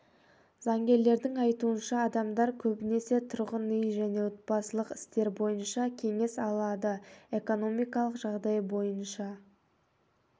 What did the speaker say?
заңгерлердің айтуынша адамдар көбінесе тұрғын үй және отбасылық істер бойынша кеңес алады экономикалық жағдай бойынша